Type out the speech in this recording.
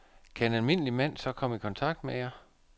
Kan en almindelig mand så komme i kontakt med jer?